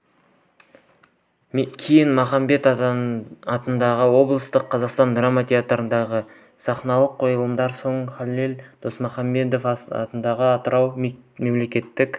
кейін махамбет атындағы облыстық қазақ драма театрындағы сахналық қойылымдардан соң халел досмұхамедов атындағы атырау мемлекеттік